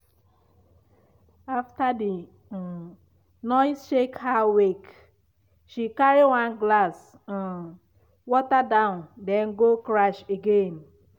after the um noise shake her wake she carry one glass um water down then go crash again.